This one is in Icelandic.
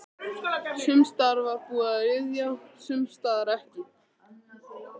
Sums staðar var búið að ryðja, sums staðar ekki.